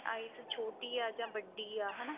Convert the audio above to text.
eyes ਛੋਟੀ ਆ ਜਾਂ ਵੱਡੀ ਆ ਹਨਾ